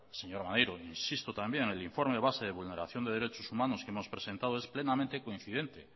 señor maneiro insisto también el informe base de vulneración de derechos humanos que hemos presentado es plenamente coincidente